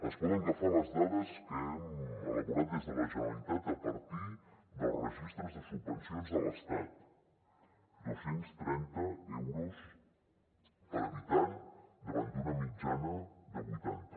es poden agafar les dades que hem elaborat des de la generalitat a partir dels registres de subvencions de l’estat dos cents i trenta euros per habitant davant d’una mitjana de vuitanta